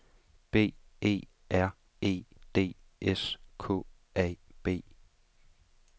B E R E D S K A B